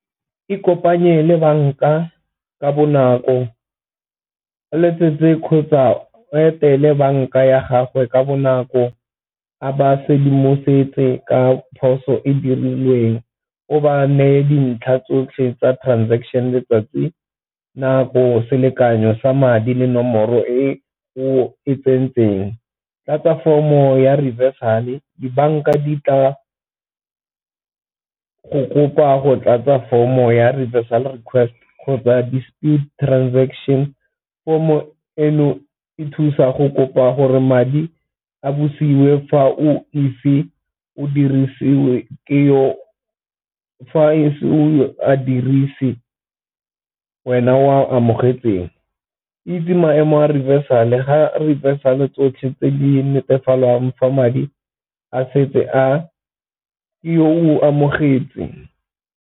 E kopanye le banka ka bonako, o letsetse kgotsa etele banka ya gagwe ka bonako, a ba sedimosetse ka phoso e dirilweng, o ba neye dintlha tsotlhe tsa transaction letsatsi, nako, selekanyo sa madi le nomoro e go e tsentseng. Tlatsa form-o ya reversal-e, dibanka di tla go kopa go tlatsa form-o ya reversal request kgotsa despute transaction. Form-o eno e thusa go kopa gore madi a bosiwe fa o ise o dirisiwe ke yo, fa e se o a dirise wena o a amogetsweng. Itse maemo a reversal ga re reversal tsotlhe tse di netefalwang fa madi a setse a yo o amogetse.